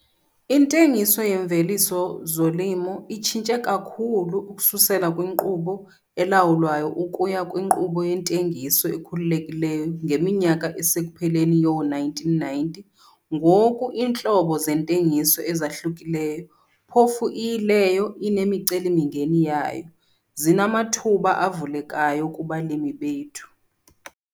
Intengiso yeemveliso zolimo itshintshe kakhulu ukususela kwinkqubo elawulwayo ukuya kwinkqubo yentengiso ekhululekileyo ngeminyaka esekupheleni yoo-1990. Ngoku iintlobo zeentengiso ezahluka-hlukileyo, phofu iyileyo inemiceli-mingeni yayo, zinamathuba avulekayo kubalimi bethu.